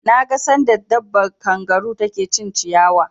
Na ga sanda dabbar kangaru ta ke cin ciyawa